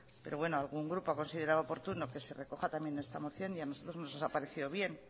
pero bueno algún grupo ha considerado oportuno que se recoja también está moción y a nosotros nos ha parecido bien